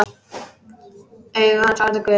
Augu hans orðin gul.